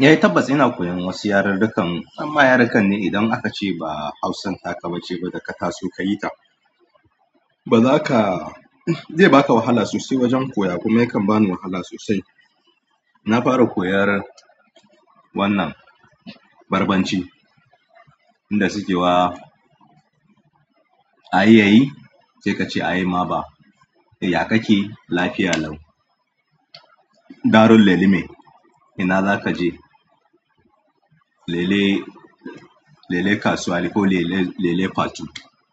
Eh tabbas ina koyan wasu yarirrikan, amma yarikan ne idan akace ba Hausan taka bace da ka taso kayi ta ba za ka-- zai ba ka wahala sosai wajen koya kuma yakan ba ni wahala sosai. Na fara koyar wannan Barbanci, inda suke wa, a yi ye yi? Sai ka ce a yi ma ba. Ya ka ke? Lafiya lau. Ndaro leni min? Ina za ka je? Lele, lele kasuwa ko lele, lele fatu.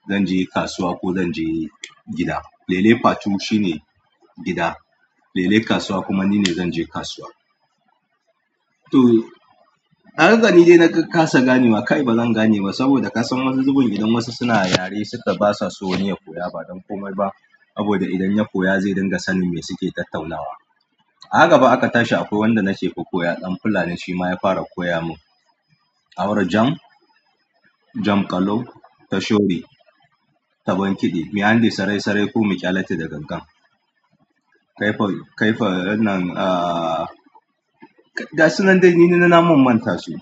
Zan je kasuwa ko zan je gida. Lele fatu shine gida. Lele kasuwa kuma nine zan je kasuwa. To, ahaka ni dai na ƙasa ganewa. Kai ba zan gane ba saboda ka san wasu zubin idan wasu suna yare suka basa so wani ya koya ba don komai ba. Sabo da idan ya koya zai ringa sanin me suke tattaunawa. Ahaka fa aka tashi akwai wanda na ce ku koya ɗan fulani shi ma ya fara koya mun. Aura jam, jam ƙalau, tashobi, tabon kiɗe, mi'andi sarai sarai ko miƙyalace da gangan. Kaifa, kaifa wannan, ah, ga sunan dai ni na mun manta su.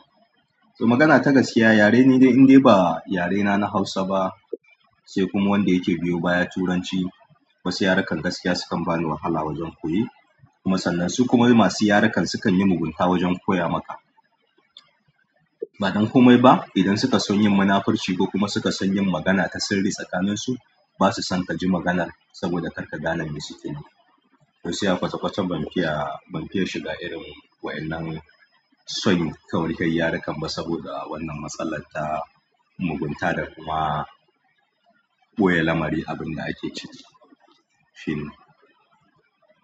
To magana ta gaskiya yare ni dai in dai ba yarena na Hausa ba, sai kuma wanda yake biyo baya Turanci. Wasu yarukan gaskiya sukan bani wahala wajen koye. Kuma sannan su kuma masu yarukan sukan yi mugunta wajen koya maka. Ba don komai ba idan suka san yin munafurci ko kuma suka san yin magana ta sirri tsakaninsu, basa son ka ji maganar saboda kar ka gane me suke nufi. To shi yasa kwata kwata ban fiya, ban fiya shiga irin waɗannan so koyan yaruka ba saboda wannan matsalar ta mugunta da kuma ɓoye lamari abin da ake ciki. Shine.